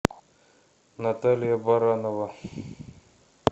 наталья баранова